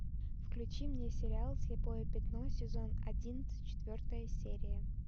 включи мне сериал слепое пятно сезон одиннадцать четвертая серия